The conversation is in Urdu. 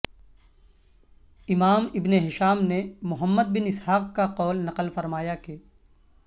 امام ابن ہشام نے محمد بن اسحاق کا قول نقل فرمایا کہ